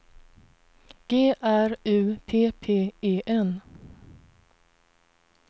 G R U P P E N